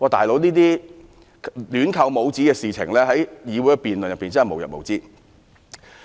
"老兄"，這種亂扣帽子的行為在議會辯論中真的無日無之。